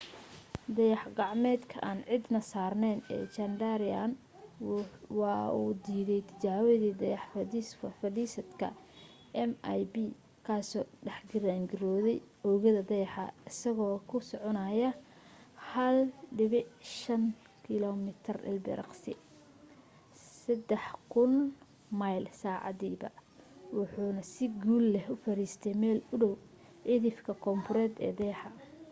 dayax gacmeedka aan cidi saarnayn ee chandrayaan waa uu diidaytijaabadii dayax fadhiisadka mip kaasoo dhex giraarngirooday oogada dayaxa isagoo ku soconaya 1.5 kilomitir ilbiriqsigiiba 3000 mile saacadiiba waxaanu si guul leh u fariistay meel u dhow cidhifka koonfureed ee dayaxa